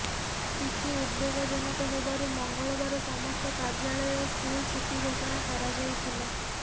ସ୍ଥିତି ଉଦବେଗଜନକ ହେବାରୁ ମଙ୍ଗଳବାର ସମସ୍ତ କାର୍ଯ୍ୟାଳୟ ଓ ସ୍କୁଲ ଛୁଟି ଘୋଷଣା କରାଯାଇଥିଲା